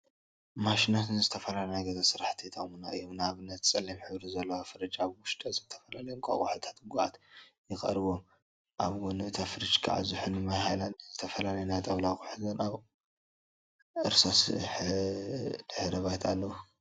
ማሽናት ንዝተፈላዩ ናይ ገዛ ስራሕቲ ይጠቅሙና እዮም፡፡ ንአብነት ፀላም ሕብሪ ዘለዋ ፍርጅ አብ ውሽጣ ዝተፈላለዩ እንቋቁሖታትን ጉዓትን ይርከቡዎም፡፡ አብ ጎኒ እታ ፍርጅ ከዓ ዝሑል ማይ ሃይላንድን ዝተፈላለዩ ናይ ጣውላ አቁትን አብ እርሳስ ድሕረ ባይታ አለው፡፡